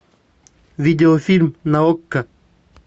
видеофильм на окко